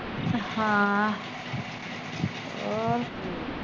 ਹਾਂ ਹੋਰ